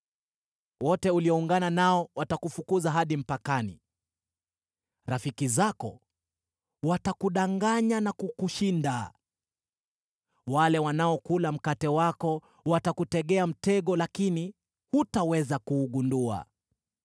Wote ulioungana nao watakufukuza hadi mpakani, rafiki zako watakudanganya na kukushinda, wale wanaokula mkate wako watakutegea mtego, lakini hutaweza kuugundua.